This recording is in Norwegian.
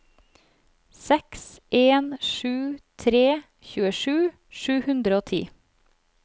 seks en sju tre tjuesju sju hundre og ti